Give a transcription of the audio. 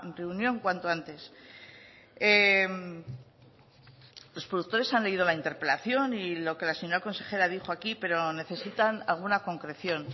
reunión cuanto antes los productores han leído la interpelación y lo que la señora consejera dijo aquí pero necesitan alguna concreción